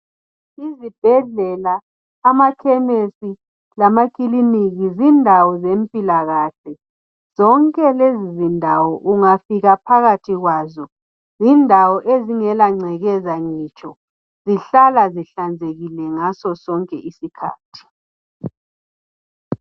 Izibhedlela amakhemisi lamakiliniki zindawo zempilakahle. Zonke lezindawo ungafika phakathi kwazo zindawo ezingelangcekeza ngitsho, zihlala ihlanzekile ngaso sonke isikhathi